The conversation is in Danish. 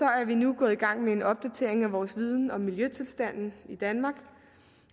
er vi nu gået i gang med en opdatering af vores viden om miljøtilstanden i danmark